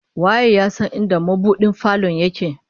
Waye ya san inda mabudin falon yake?